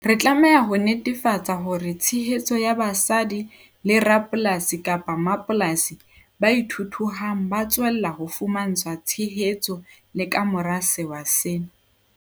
Re tlameha ho netefatsa hore tshehetso ya basadi le rapolasi-mmapolasi ba ithuthuhang ba tswella ho fumantshwa tshehetso le ka mora sewa sena.